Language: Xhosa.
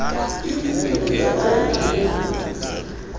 igugu lingaba likhulu